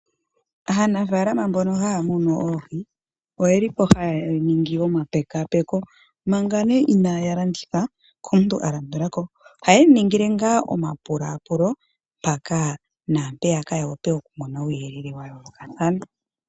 Aanafaalama mbono haya munu oohi oyeli po haya ningi omapekaapeko manga nee inaya landitha komuntu a landula ko, ohayemu ningile ngaa omapulapulo mpaka naampeyaka ya wape oku mona uuyelele wa yoolokathana.